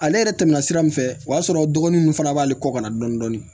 Ale yɛrɛ tɛmɛna sira min fɛ o y'a sɔrɔ dɔgɔnin min fana b'ale kɔ ka na dɔɔni dɔɔni